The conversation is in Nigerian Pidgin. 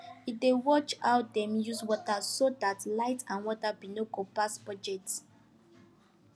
he dey watch how dem use water so that light and water bill no go pass budget